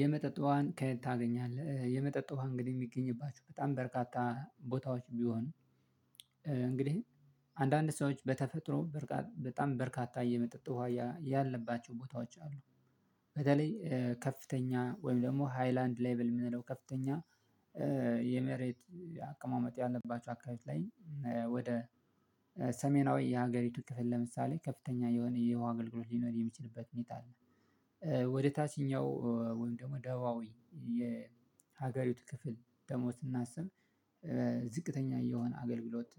የመጠጥ ውሃን ከየት ታገኛለህ የመጠጥ ውሃ እንግዲህ የሚገኝባቸው በጣም በርካታ ቦታዎች ቢሆንም። እንግዲህ አንዳንድ ሰዎች በተፈጥሮ በጣም በርካታ የመጠጥ ዉሃ ያለባቸው ቦታዎች አሉ። በተለይ ከፍተኛ ወይም ደግሞ ሃይላንድ ሌቭል የምንለው ከፍተኛ የመሬት አቀማመጥ ያለባቸው አካባቢ ላይ ወደ ሰሜናዊ የሀገሪቱ ክፍል ለምሳሌ ከፍተኛ የሆነ የውሃ አገልግሎት ሊኖር የሚችልበት ሁኔታ አለ። ወደ ታችኛው ወይም ደግሞ ደቡባዊ የሀገሪቱ ክፍል ደግሞ ስናስብ ዝቅተኛ የሆነ አገልግሎት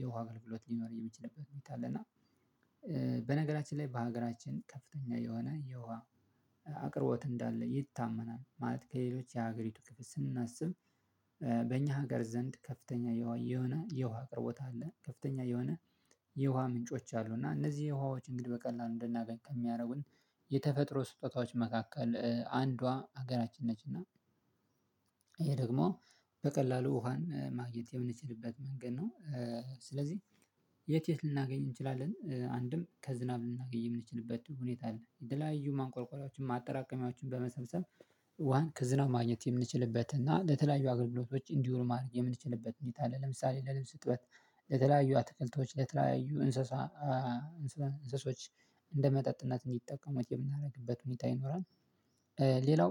የውሃ አገልግሎት ሊኖር የሚችልበት ሁኔታ አለ። እና በነገራችን ላይ በሀገራችን ከፍተኛ የሆነ የውሃ አቅርቦት እንዳለ ይታመናል። ማለት ከሌሎች የሀገሪቱ ክፍል ስናስብ በእኛ ሀገር ዘንድ ከፍተኛ የውሃ የሆነ የውሃ አቅርቦት አለ። ከፍተኛ የሆነ የውሃ ምንጮች አሉ እና እነዚህ የውሃዎች እንግዲህ በቀላሉ እንደናገኝ ከሚያደርጉን የተፈጥሮ ስጦታዎች መካከል አንዷ ሀገራችን ነችና። ይሄ ደግሞ በቀላሉ ውሃን ማግኘት የምንችልበት መንገድ ነው። ስለዚህ የት የት ልናገኝ እንችላለን አንድም ከዝናብ ልናገኝ የምንችልበት ሁኔታ አለ የተለያዩ ማንቆርቆሪያዎችን ማጠራቀሚያዎችን በመሰብሰብ ዋን ከዝናብ ማግኘት የምንችልበት እና ለተለያዩ አገልግሎቶች እንዲሆኑ ማድረግ የምንችልበት ሁኔታ አለ። ለምሳሌ ለልብስ ዕጥበት ለተለያዩ አትክልቶች ለተለያዩ እንስሳ እንስሶች እንደመጠጥነት እንዲጠቀሙት የምናደርግበት ሁኔታ ይኖራል። ሌላው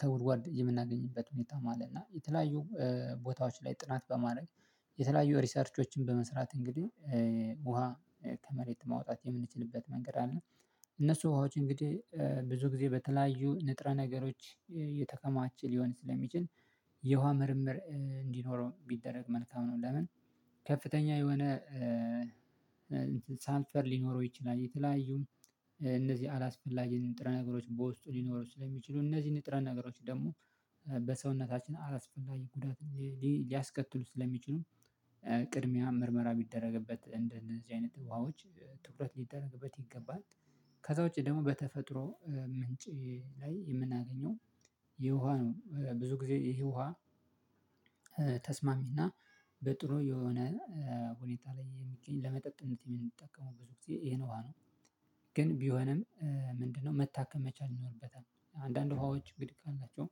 ከጉድጓድ የምናገኝበት ሁኔታ ማለት ነው። እና የተለያዩ ቦታዎች ላይ ጥናት በማድረግ የተለያዩ ሪሰርቾችን በመስራት እንግዲህ ውሃ ከመሬት ማውጣት የምንችልበት መንገድ አለ። እነሱ ውሃዎች እንግዲህ ብዙ ጊዜ በተለያዩ ንጥረ ነገሮች እየተከማቸ ሊሆን ስለሚችል የውሃ ምርምር እንዲኖረው ቢደረግ መልካም ነው። ለምን ከፍተኛ የሆነ ሰልፈር ሊኖረው ይችላል። የተለያዩ እነዚህ አላስፈላጊ ንጥረ ነገሮች በውስጡ ሊኖሩ ስለሚችሉ እነዚህ ንጥረ ነገሮች ደግሞ በሰውነታችን አላስፈላጊ ጉዳት ሊያስከትሉ ስለሚችሉም ቅድሚያ ምርመራ ቢደረግበት እንደዚህ አይነት ውሃዎች ትኩረት ሊደረግበት ይገባል። ከዛ ውጪ ደግሞ በተፈጥሮ ምንጭ ላይ የምናገኘው የውሃ ነው። ብዙ ጊዜ ይሄ ውሃ ተስማሚና በጥሩ የሆነ ሁኔታ ላይ የሚገኝ ለመጠጥነት የምንጠቀመው ብዙ ጊዜ ይሄን ዉሃ ነው። ግን ቢሆንም ምንድነው መታከም መቻል ይኖርበታል አንዳንድ ውሃዎች ግድ አላቸው